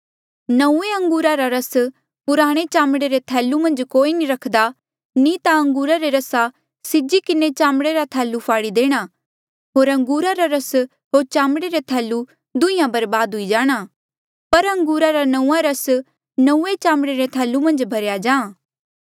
नंऊँऐं अंगूरा रा रस पुराणे चामड़े रे थैलू मन्झ कोई नी रख्दा नी ता अंगूरा रे रसा सीजी किन्हें चामड़े रे थैलू फाड़ी देणा होर अंगूरा रा रस होर चामड़े रे थैलू दुंहींया बर्बाद हुई जाणा पर अंगूरा रा नंऊँआं रस नौंऐं चामड़े रे थैलू मन्झ भरेया जाहाँ